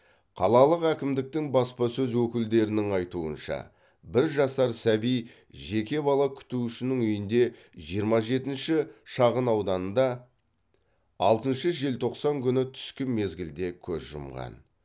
қалалық әкімдіктің баспасөз өкілдерінің айтуынша бір жасар сәби жеке бала күтушінің үйінде жиырма жетінші шағынауданда алтыншы желтоқсан күні түскі мезгілде көз жұмған